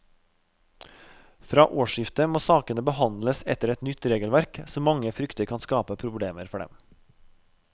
Fra årsskiftet må sakene behandles etter et nytt regelverk som mange frykter kan skape problemer for dem.